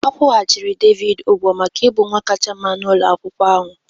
A kwụghachiri Devid ụgwọ maka ịbụ nwa kasị mma n'ụlọ akwụkwọ ahụ